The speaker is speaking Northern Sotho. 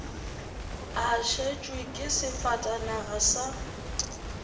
a šetšwe ke sefatanaga sa